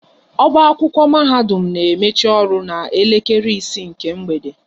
Ọba akwụkwọ mahadum na emechi ọrụ na elekere isii nke mgbede